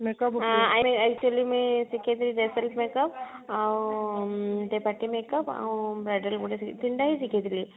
actually ରେ ଶିଖେଇଥିଲେ makeup ଆଉ makeup ଆଉ ଏଇ ତିନିଟା ହିଁ ଶିଖେଇଥିଲେ